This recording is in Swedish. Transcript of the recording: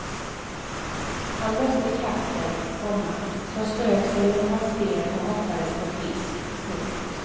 Han mötte katten, komma som strök sig mot hans ben och hoppades på fisk. punkt